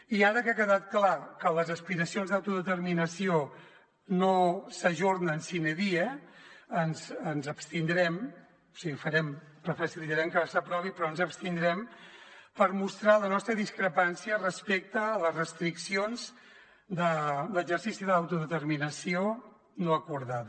i ara que ha quedat clar que les aspiracions d’autodeterminació no s’ajornen sine die ens hi abstindrem o sigui facilitarem que s’aprovi però hi ens abstindrem per mostrar la nostra discrepància respecte a les restriccions de l’exercici de l’autodeterminació no acordada